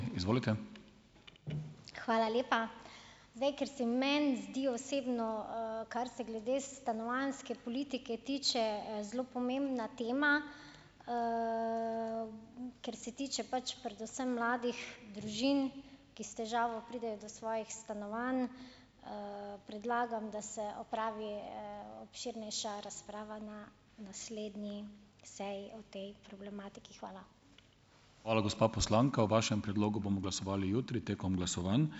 Hvala lepa. Zdaj, ker se meni zdi osebno, kar se glede stanovanjske politike tiče, zelo pomembna tema, ker se tiče pač predvsem mladih družin, ki s težavo pridejo do svojih stanovanj, predlagam, da se opravi, obširnejša razprava na naslednji seji o tej problematiki. Hvala.